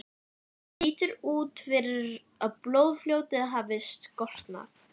Lítur út fyrir að blóðfljótið hafi storknað.